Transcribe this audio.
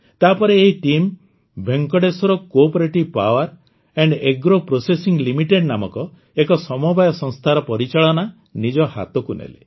ତାପରେ ଏହି team Venkateswara cooperative power and agro processing limited ନାମକ ଏକ ସମବାୟ ସଂସ୍ଥାର ପରିଚାଳନା ନିଜ ହାତକୁ ନେଲେ